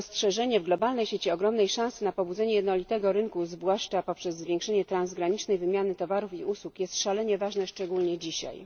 Dostrzeżenie w globalnej sieci ogromnej szansy na pobudzenie jednolitego rynku, zwłaszcza przez zwiększenie transgranicznej wymiany towarów i usług, jest szalenie ważne szczególnie dzisiaj.